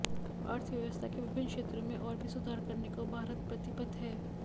अर्थव्यवस्था के विभिन्न क्षेत्रों में और भी सुधार करने को भारत प्रतिबद्ध है